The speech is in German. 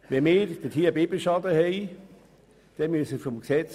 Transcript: Der Biber ist durch Bundesrecht geschützt.